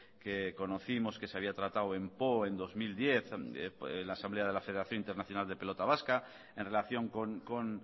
que conocimos que se había tratado en poo en dos mil diez en la asamblea de la federación internacional de pelota vasca en relación con